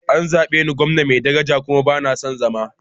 An zabe ni a matsayin gwamna mai daraja kuma ba na son zama.